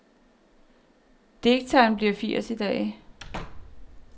Digteren bliver firs i dag.